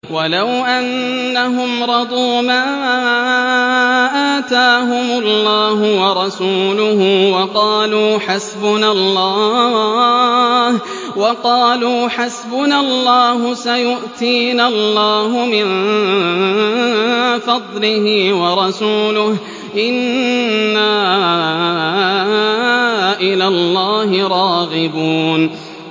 وَلَوْ أَنَّهُمْ رَضُوا مَا آتَاهُمُ اللَّهُ وَرَسُولُهُ وَقَالُوا حَسْبُنَا اللَّهُ سَيُؤْتِينَا اللَّهُ مِن فَضْلِهِ وَرَسُولُهُ إِنَّا إِلَى اللَّهِ رَاغِبُونَ